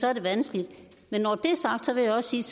er det vanskeligt men når det er sagt vil jeg også sige